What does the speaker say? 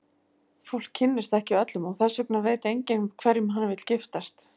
Fólk kynnist ekki öllum, og þess vegna veit enginn hverjum hann vill giftast.